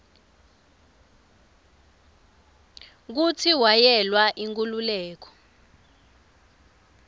kutsi wayelwela inkhululeko